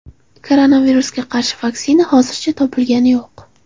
Koronavirusga qarshi vaksina hozircha topilgani yo‘q.